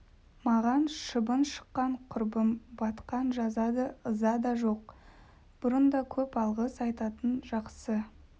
маған шыбын шаққан құрым батқан жаза да ыза да жоқ бұрын да көп алғыс айтатын жақсы